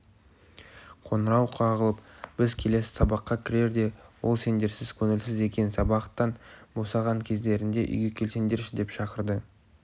қоңырау қағылып біз келесі сабаққа кірерде ол сендерсіз көңілсіз екен сабақтан босаған кездеріңде үйге келсеңдерші деп шақырды